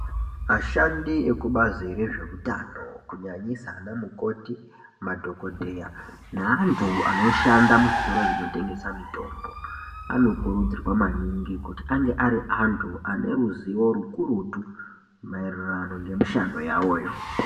Ashandi ekubazi rezveutano kunyanyisa ana mukoti madhokodheya neantu anoshanda muzvitoro zvinotengesa mitombo ano kurudzirwa maningi kuti ange ari antu aneruzivo rukurutu maererano ngemishando yavoyo.